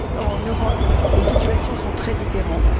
En Europe, les situations sont très différentes.